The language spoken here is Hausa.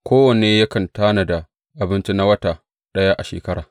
Kowanne yakan tanada abinci na wata ɗaya a shekara.